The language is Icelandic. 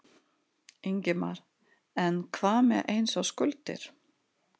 Ingimar: En hvað með eins og skuldir?